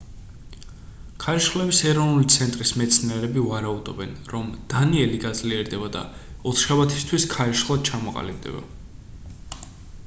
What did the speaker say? ქარიშხლების ეროვნული ცენტრის მეცნიერები ვარაუდობენ რომ დანიელი გაძლიერდება და ოთხშაბათისთვის ქარიშხლად ჩამოყალიბდება